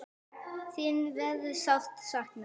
Þin verður sárt saknað.